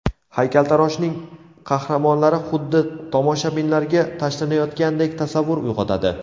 Haykaltaroshning qahramonlari xuddi tomoshabinlarga tashlanayotgandek tasavvur uyg‘otadi.